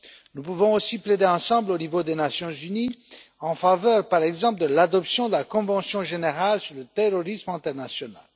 Nous pouvons aussi plaider ensemble au niveau des Nations unies, en faveur par exemple de l'adoption de la convention générale sur le terrorisme international.